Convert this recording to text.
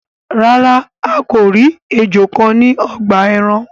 Ràrá a kọ ríi ejò kán ní ogbà èràn.